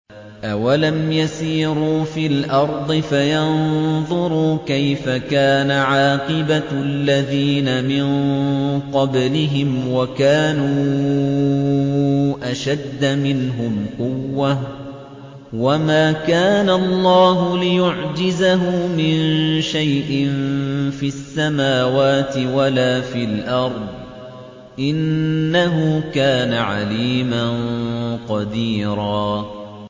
أَوَلَمْ يَسِيرُوا فِي الْأَرْضِ فَيَنظُرُوا كَيْفَ كَانَ عَاقِبَةُ الَّذِينَ مِن قَبْلِهِمْ وَكَانُوا أَشَدَّ مِنْهُمْ قُوَّةً ۚ وَمَا كَانَ اللَّهُ لِيُعْجِزَهُ مِن شَيْءٍ فِي السَّمَاوَاتِ وَلَا فِي الْأَرْضِ ۚ إِنَّهُ كَانَ عَلِيمًا قَدِيرًا